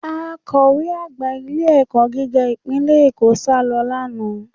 Akọ̀we àgbà ilé-ẹ̀kọ́ gíga ìpínlẹ̀ Èkó sálọ lánàá